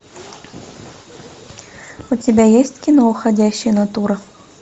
у тебя есть кино уходящая натура